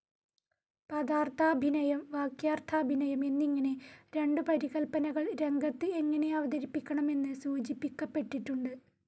പദാർത്ഥാഭിനയം, വാക്യാർത്ഥാഭിനയം എന്നിങ്ങനെ രണ്ടു പരികല്പനകൾ രംഗത്ത് എങ്ങനെ അവതരിപ്പിക്കണം എന്ന് സൂചിപ്പിയ്ക്കപ്പെട്ടിട്ടുണ്ട്.